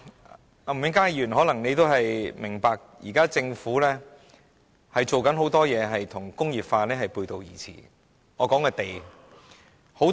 吳永嘉議員可能也明白，現時政府正在做的事，很多與工業化背道而馳，我所指的是土地。